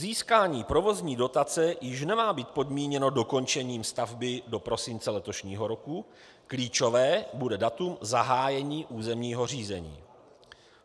Získání provozní dotace již nemá být podmíněno dokončením stavby do prosince letošního roku, klíčové bude datum zahájení územního řízení.